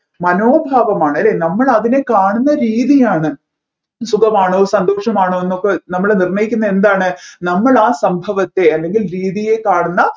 മനോഭാവമാണ് അല്ലെ നമ്മൾ അതിനെ കാണുന്ന രീതിയാണ് സുഖമാണോ സന്തോഷമാണോ എന്നൊക്കെ നമ്മൾ നിർണയിക്കുന്ന എന്താണ് നമ്മൾ ആ സംഭവത്തെ അല്ലെങ്ങിൽ രീതിയെ കാണുന്ന